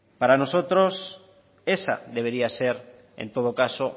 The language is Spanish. para nosotros esa debería de ser en todo caso